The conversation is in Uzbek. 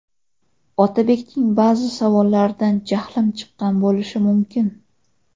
Otabekning ba’zi savollaridan jahlim chiqqan bo‘lishi mumkin.